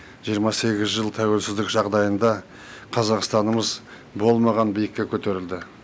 жиырма сегіз жыл тәуелсіздік жағдайында қазақстанымыз болмаған биікке көтерілді